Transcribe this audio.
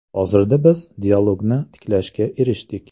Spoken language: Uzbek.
Hozirda biz dialogni tiklashga erishdik.